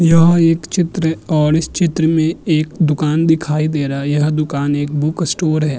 यह एक चित्र है और इस चित्र में एक दूकान दिखाई दे रहा यह दूकान एक बुक स्टोर है।